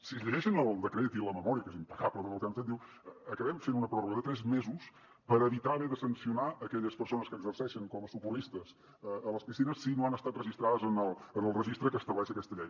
si es llegeixen el decret i la memòria que és impecable en tot el que han fet diu acabem fent una pròrroga de tres mesos per evitar haver de sancionar aquelles persones que exerceixen com a socorristes a les piscines si no han estat registrades en el registre que estableix aquesta llei